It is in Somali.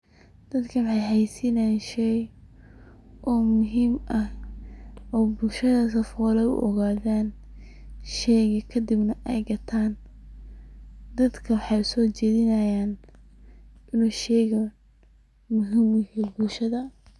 Dadkan waxey xayeysinayaan shey oo muhiim ah ,oo bulshada sifola ay u ogadaan, sheyga kadibna ay gataan .Dadka waxey soo jedinayaan in uu sheygan muhiim u yaho bulshada.